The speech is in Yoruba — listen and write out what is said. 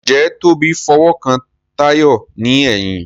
Njé Tobi f'owo kán Tayo ní èyìn?